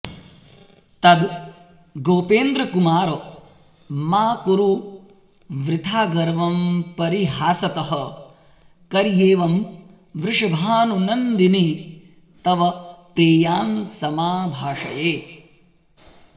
तद् गोपेन्द्रकुमार मा कुरु वृथा गर्वं परीहासतः कर्ह्येवं वृषभानुनन्दिनि तव प्रेयांसमाभाषये